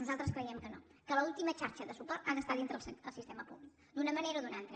nosaltres creiem que no que l’última xarxa de suport ha d’estar dintre del sistema públic d’una manera o d’una altra